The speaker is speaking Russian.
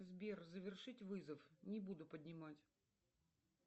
сбер завершить вызов не буду поднимать